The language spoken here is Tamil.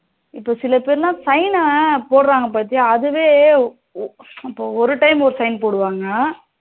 இப்போ சில பேரு sign ன போடுறாங்க பாத்தியா அதுவே இப்போ ஒரு time ஒரு sign போடுவாங்க